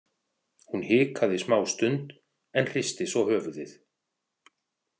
Hún hikaði smástund en hristi svo höfuðið.